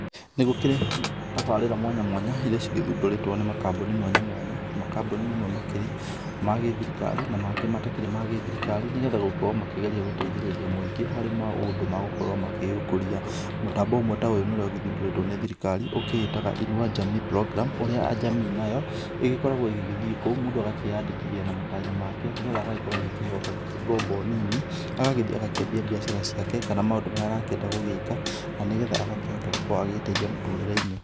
Nĩgũkĩrĩ tabarĩra mwanya mwanya iria cigĩthundũrĩtwo nĩ makambuni mwanya mwanya, makambuni mamwe makĩrĩ ma gĩthirikari na mangĩ matakĩrĩ ma gĩthirikari. Nĩgetha gũkorwo makĩgeria gũteithĩrĩria mũingĩ harĩ maũndũ magũkorwo magĩkũria. Mũtambo ũmwe ta ũyũ ũrĩa ũgĩthundũrĩtwo nĩ thirikari ũkĩĩtaga Inua Jamii Programme ũrĩa jamii nayo ĩgĩkoragwo ĩgĩgĩthiĩ kũu mũndũ akeyandĩkithia na matanya make nĩgetha agagĩkorwo akĩheyo ngombo nini, agagĩthiĩ akambia biacara ciake kana maũndũ marĩa arakĩenda gũgĩka na nĩgetha agagĩkorwo agĩteithia mũtũrĩreinĩ.